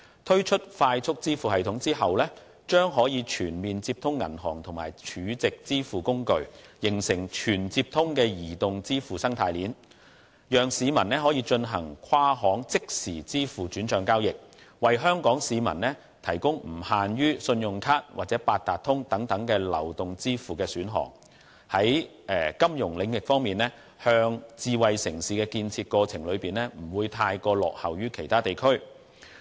推出"快速支付系統"後，將可以全面接通銀行與儲值支付工具，形成"全接通"的移動支付生態鏈，讓市民可以進行跨行即時支付轉帳交易，為香港市民提供不限於信用卡或八達通等流動支付的選項，令金融領域在智慧城市的建設過程中不會太過落後於其他地區。